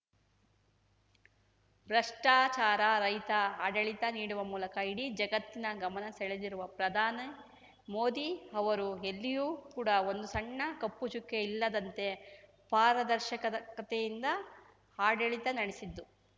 ಭ್ರಷ್ಟಾಚಾರ ರಹಿತ ಆಡಳಿತ ನೀಡುವ ಮೂಲಕ ಇಡೀ ಜಗತ್ತಿನ ಗಮನ ಸೆಳೆದಿರುವ ಪ್ರಧಾನಿ ಮೋದಿ ಅವರು ಎಲ್ಲಿಯೂ ಕೂಡ ಒಂದು ಸಣ್ಣ ಕಪ್ಪು ಚುಕ್ಕೆ ಇಲ್ಲದಂತೆ ಪಾರದರ್ಶಕದಕತೆಯಿಂದ ಆಡಳಿತ ನಡೆಸಿದ್ದು